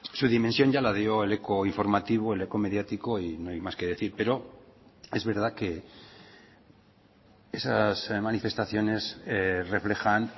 su dimensión ya la dio el eco informativo el eco mediático y no hay más que decir pero es verdad que esas manifestaciones reflejan